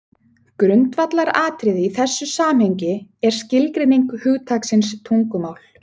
Grundvallaratriði í þessu samhengi er skilgreining hugtaksins tungumál.